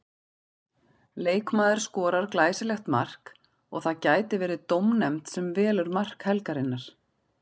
Leikmaður skorar glæsilegt mark og það gæti verið dómnefnd sem velur mark helgarinnar.